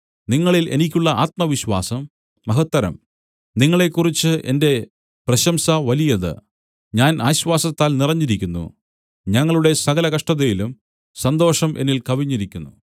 നിങ്ങളിൽ എനിക്കുള്ള ആത്മവിശ്വാസം മഹത്തരം നിങ്ങളെക്കുറിച്ച് എന്റെ പ്രശംസ വലിയത് ഞാൻ ആശ്വാസത്താൽ നിറഞ്ഞിരിക്കുന്നു ഞങ്ങളുടെ സകല കഷ്ടതയിലും സന്തോഷം എന്നിൽ കവിഞ്ഞിരിക്കുന്നു